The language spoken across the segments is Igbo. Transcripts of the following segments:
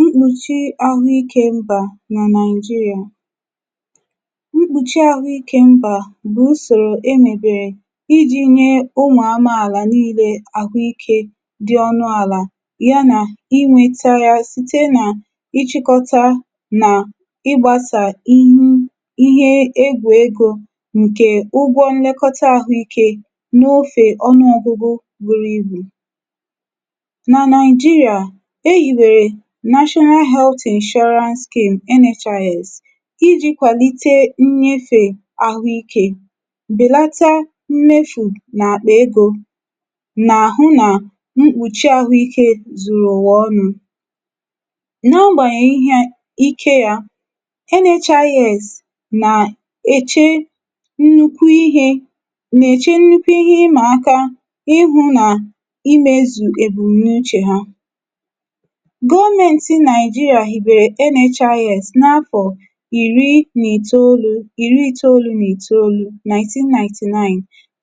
mkpùchi ahụ ikē mbà nà Naị̀jịrị̀à. mkpùchi ahụ ikē mbà bụ̀ usòrò e nwèbèrè ijī nyẹ ụmụ̀ anụmanà nille ahụ ikē, dị ọnụ̀ àlà, y anà inwēta ya, site nà ịchịkọta nà ịgbāsà ihu, ihe egwù egō, ǹkẹ ụgwọ nnẹkọta ahụ ikē n’ofè ọnụọgụgụ buru ibù. nà Naị̀jịrịà, e yìbèrè National Health Insurance Scheme NHIS, ijī kwàlite nyefē ahụ ikē, bèlata mmefiè nà àkpà egō, nà àhụ nà mkpùchi ahụ ikē zùrù ụ̀wà ọnụ. na agbànyèghị nà ịhẹ ikē ya, NHIS nà èche nnukwu ịhẹ, nà ẹ̀chẹ nnukwu ịhẹ ụmụ̀akā, ihū nà imēzù èbùmnuchè ha, gọmẹntị Naị̀jịrị̀à hìbèrè NHIS n’afọ̀ ìri n’ìtoolū, ìri itoolu, 1999,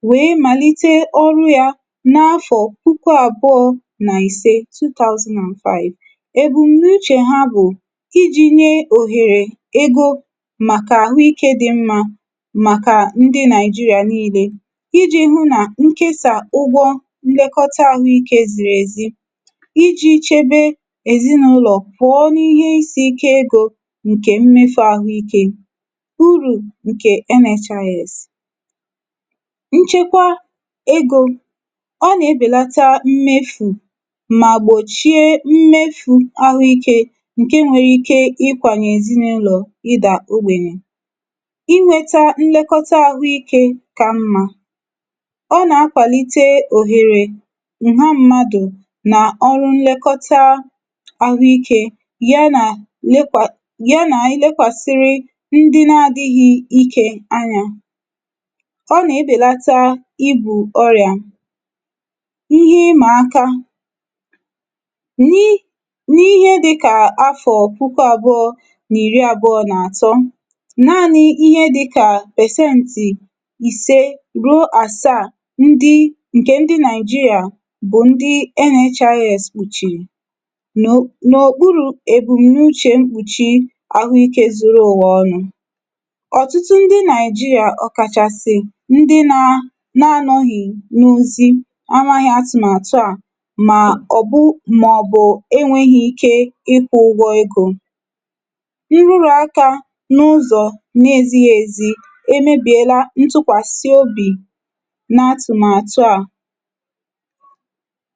wèe màlite ọrụ ya n’afọ̀ puku àbụọ̄ n’ìse, 2005. èbùmnuchè ha bụ̀ ijī nye òhèrè ego màkà àhụ ikē dị mmā, màkà ndị Naị̀jịrị̀à nille, ijī hụ nà ǹkesà ụgwọ nnẹkọta ahụ ikē zìrì èzi, ijī chebe èzịnụlọ̀ pụọ n’ihe isī ikē egō ǹkè mmefū ahụ ike. urù ǹkè NHIS. nchekwa ego, ọ nà ebèlata mmefù, mà gbòchie mmefū ahụ ikē ǹke nwere ike ịkwànyè èzịnụlọ̀ ịdà ogbènyè. nnẹkọta ahụ ikē ka mmā. ọ nà akwàlite òhèrè ìgwe mmadù, nà ọrụ nlẹkọta ahụ ikē, y anà lekwà, ya nà lekwàsịrị ndị na adịghị ikē anyā. ọ nà ebèlata igwù ọyà. ịhẹ ị mà aka, n’ n’ihe dịkà afọ̀ puku abụọ nà ìri abụọ nà àtọ, naanị ịhẹ dịkà percenti ìse ruo àsaà, ndị ǹkè ndị Naị̀jịrị̀à bụ ǹkẹ̀ ndị NHIS kpuchìrì, n’o n’okpurū èbum̀nuchē mkpùchi ahụ ikē zuru ụ̀wà ọnụ̄. ọ̀tụtụ ndị Naị̀jịrị̀à, ọ̀kàchàsị̀ ndị nā, na anọghị̀ n’ozi, amaghị atụ̀màtụ à, mà ọ̀ bụ, mà ọ̀ bụ ẹnwẹghị ike ị kwụ̄ ugwọ egō. ịhẹ urù akā, n’ụzọ̀ n’ezịghị ezi, e mebìela ntụkwàsị obì n’atụ̀màtụ à.